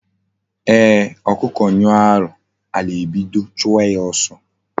Eeh, okuku nyuo ahu, ala ebido chuwa ya oso